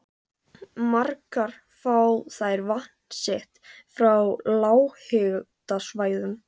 Margar fá þær vatn sitt frá lághitasvæðum.